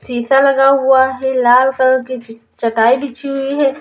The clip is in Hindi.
शीशा लगा हुआ है लाल कलर की च चटाई बिछी हुई है।